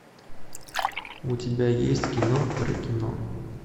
у тебя есть кино про кино